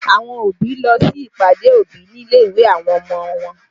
Àwọn òbí lọ sí ìpàdé òbí nílé ìwé àwọn ọmọ wọn